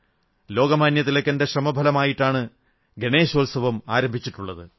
ലോകമാന്യതിലകന്റെ ശ്രമഫലമായിട്ടാണ് ഗണേശോത്സവം ആരംഭിച്ചിട്ടുള്ളത്